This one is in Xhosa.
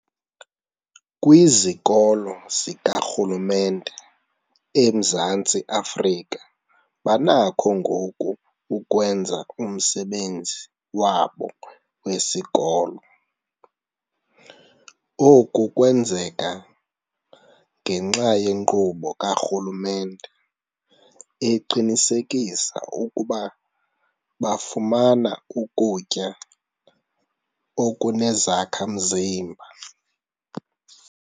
Kwizikolo zikarhulumente eMzantsi Afrika banakho ngoku ukwenza umsebenzi wabo wesikolo. Oku kwenzeka ngenxa yenkqubo karhulumente eqinisekisa ukuba bafumana ukutya okunezakha-mzimba.